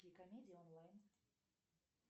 комедии онлайн